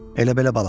Elə-belə balıqdır.